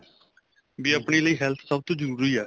ਵੀ ਆਪਣੇਂ ਲਈ health ਸਭ ਤੋ ਜਰੂਰੀ ਏ